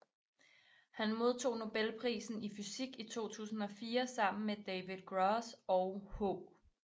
Han modtog nobelprisen i fysik i 2004 sammen med David Gross og H